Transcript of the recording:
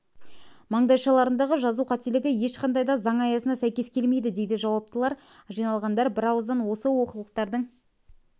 маңдайшаларындағы жазу қателігі ешқандай да заң аясына сәйкес келмейді дейді жауаптылар жиналғандар бірауыздан осы олқылықтардың